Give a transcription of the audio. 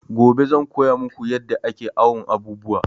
Gobe zan koya maku yadda ake awon abubuwa